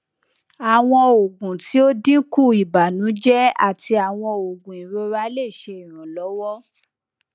awọn oogun ti o dinku ibanujẹ ati awọn oogun irora le ṣe iranlọwọ